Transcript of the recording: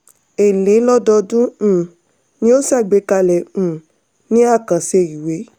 èlé lododun um ni a ṣàgbékalẹ̀ um ní àkànṣe ìwé.